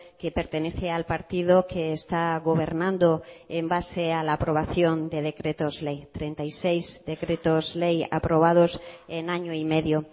que pertenece al partido que está gobernando en base a la aprobación de decretos ley treinta y seis decretos ley aprobados en año y medio